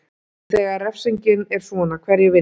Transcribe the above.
En þegar refsingin er svona, hverjir vinna?